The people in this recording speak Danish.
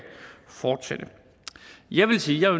fortsætte jeg vil sige at